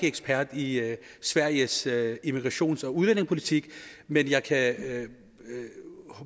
ekspert i sveriges immigrations og udlændingepolitik men jeg kan